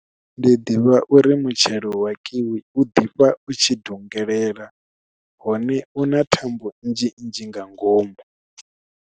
Ndi ḓivha uri mutshelo wa kiwi u ḓifha u tshi dungelela hone u na thambo nnzhi nnzhi nga ngomu.